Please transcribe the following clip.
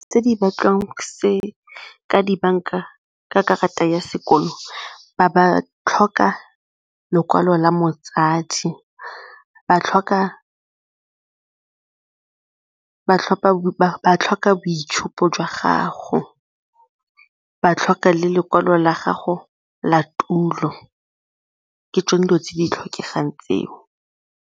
Tse di batliwang ka dibanka ka karata ya sekolo ba ba tlhoka lekwalo la motsadi, ba tlhoka boitshupo jwa gago, ba tlhoka le lekwalo la gago la tulo ke tsone dilo tse di tlhokegang tseo.